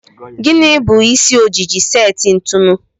Gịnị bụ isi ojiji seti ntụnụ?